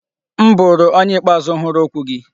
M bụrụ onye ikpeazụ hụrụ okwu gị.